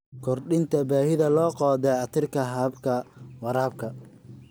Kordhinta baahida loo qabo dayactirka hababka waraabka.